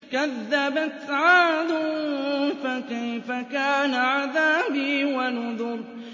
كَذَّبَتْ عَادٌ فَكَيْفَ كَانَ عَذَابِي وَنُذُرِ